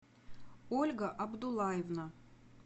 ольга абдулаевна